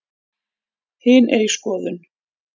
Hin er í skoðun.